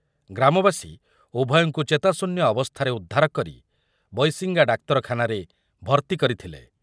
ଗ୍ରାମବାସୀ ଉଭୟଙ୍କୁ ଚେତାଶୂନ୍ୟ ଅବସ୍ଥାରେ ଉଦ୍ଧାର କରି ବୈଶିଙ୍ଗା ଡାକ୍ତରଖାନାରେ ଭର୍ତ୍ତି କରିଥିଲେ ।